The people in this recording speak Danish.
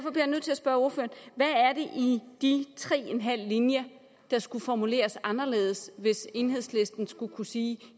i de tre og en halv linje skulle formuleres anderledes hvis enhedslisten skulle kunne sige